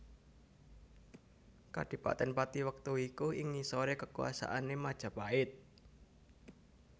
Kadhipaten Pathi wektu iku ing ngisore kekuasaane Majapahit